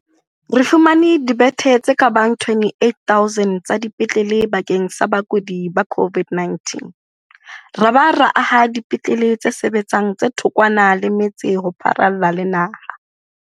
Re fumane dibethe tse ka bang 28 000 tsa dipetlele bakeng sa bakudi ba COVID-19 ra ba ra aha dipetlele tse sebetsang tse thokwana le metse ho pharalla le naha.